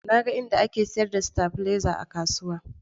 Na ga inda ake sayar da stabilizer a kasuwa